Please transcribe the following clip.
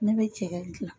Ne bɛ cɛkɛ dilan